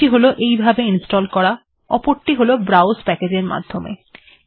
একটি হল এখানেই এইভাবে ইনস্টল্ করা এবং অপরটি হল ব্রাউস প্যাকেজ এর মাধ্যমে